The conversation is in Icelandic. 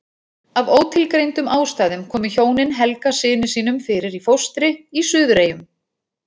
Af ótilgreindum ástæðum komu hjónin Helga syni sínum fyrir í fóstri í Suðureyjum.